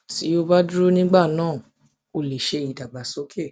tí o bá dúró nígbà náà o lè ṣe ìdàgbàsókè